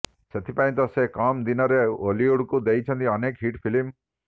ସେଥିପାଇଁ ତ ସେ କମ୍ ଦିନରେ ଓଲିଉଡ଼କୁ ଦେଇଛନ୍ତି ଅନେକ ହିଟ୍ ଫିଲ୍ମ